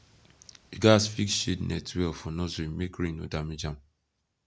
you gats fix shade net well for nursery make rain no damage am